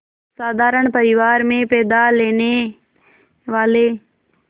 साधारण परिवार में पैदा लेने वाले